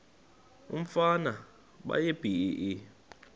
umfana baye bee